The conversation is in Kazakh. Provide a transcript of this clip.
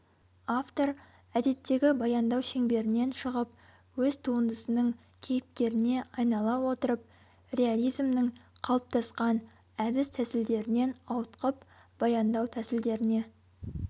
автор әдеттегі баяндау шеңберінен шығып өз туындысының кейіпкеріне айнала отырып реализмнің қалыптасқан әдіс-тәсілдерінен ауытқып баяндау тәсілдеріне